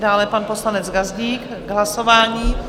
Dále pan poslanec Gazdík k hlasování.